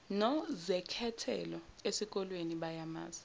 nozekhethelo eskoleni bayamazi